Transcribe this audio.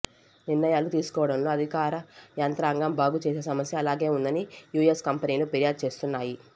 నిర్ణయా లు తీసుకోవడంలో అధికార యంత్రాంగం బాగు చేసే సమస్య అలాగే ఉందని యుఎస్ కంపెనీలు ఫిర్యాదు చేస్తున్నాయి